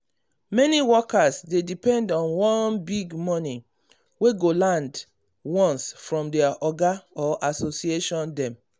many workers dey depend on one big money wey go land once from their oga or association dem.